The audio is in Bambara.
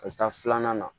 Ka taa filanan na